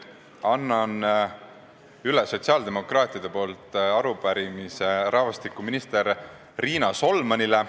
Annan sotsiaaldemokraatide nimel üle arupärimise rahvastikuminister Riina Solmanile.